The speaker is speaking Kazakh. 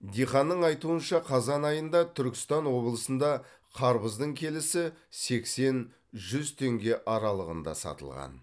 диқанның айтуынша қазан айында түркістан облысында қарбыздың келісі сексен жүз теңге аралығында сатылған